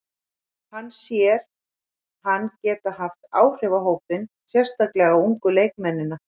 Hann sér hann geta haft áhrif á hópinn, sérstaklega á ungu leikmennina.